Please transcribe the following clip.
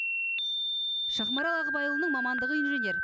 шахмарал ағыбайұлының мамандығы инженер